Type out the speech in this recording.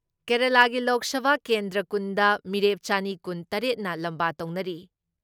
ꯀꯦꯔꯦꯂꯥꯒꯤ ꯂꯣꯛ ꯁꯚꯥ ꯀꯦꯟꯗ꯭ꯔ ꯀꯨꯟꯗ ꯃꯤꯔꯦꯞ ꯆꯅꯤ ꯀꯨꯟ ꯇꯔꯦꯠꯅ ꯂꯝꯕꯥ ꯇꯧꯅꯔꯤ ꯫